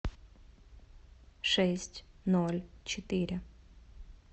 шесть ноль четыре